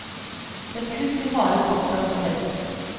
Det er kun de harde fakta som teller.